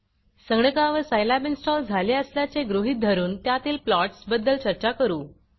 संगणकावर Scilab install झाले असल्याचे गृहीत धरून त्यातील प्लॉट्स बद्दल चर्चा करू